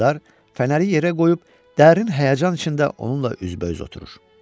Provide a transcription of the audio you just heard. Mülkədar fənəri yerə qoyub dərin həyəcan içində onunla üzbəüz oturur.